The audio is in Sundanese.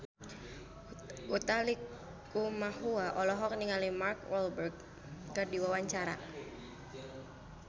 Utha Likumahua olohok ningali Mark Walberg keur diwawancara